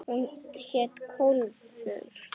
Hún hét Kólfur.